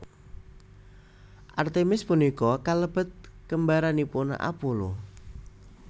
Artemis punika kalebet kembaranipun Apollo